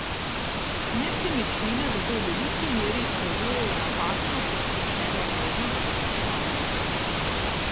Nepremičnine zato v veliki meri izkazujejo napačno posplošeno vrednost, izpostavljajo.